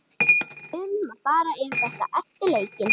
Við munum fara yfir þetta eftir leikinn.